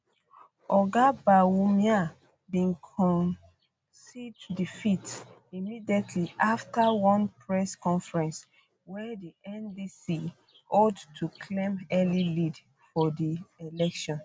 oga bawumia bin concede defeat immediately afta one press conference um wey di ndc hold to claim early lead for di um election